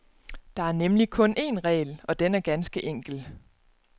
Der er nemlig kun en regel, og den er ganske enkel.